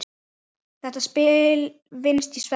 Þetta spil vinnst í svefni.